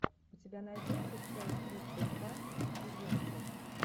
у тебя найдется часть тридцать два безумцев